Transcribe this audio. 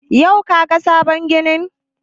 Yau ka ga sabon ginin?